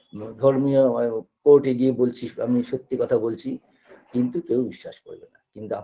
ধর্মীয় মানে court -এ গিয়ে বলছি আমি সত্যি কথা বলছি কিন্তু কেউ বিশ্বাস করবেনা কিন্তু আ